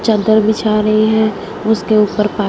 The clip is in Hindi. चद्दर बिछा रही है उसके ऊपर पा--